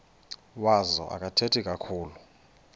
wazo akathethi kakhulu